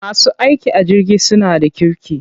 Masu aiki a jirgi suna da kirki.